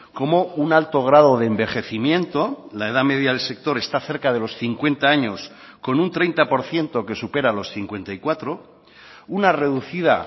como un alto grado de envejecimiento la edad media del sector está cerca de los cincuenta años con un treinta por ciento que supera los cincuenta y cuatro una reducida